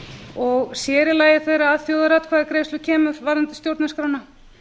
og sér í lagi þegar að þjóðaratkvæðagreiðslu kemur varðandi stjórnarskrána